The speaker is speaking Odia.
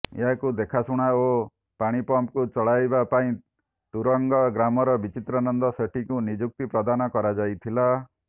ଏହାକୁ ଦେଖାଶୁଣା ଓ ପାଣି ପମ୍ପକୁ ଚଳାଇବା ପାଇଁ ତୁରଙ୍ଗ ଗ୍ରାମର ବିଚିତ୍ରାନନ୍ଦ ସେଠୀଙ୍କୁ ନିଯୁକ୍ତି ପ୍ରଦାନ କରାଯାଇଥିଲା